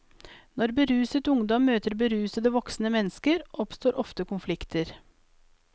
Når beruset ungdom møter berusede voksne mennesker, oppstår ofte konflikter.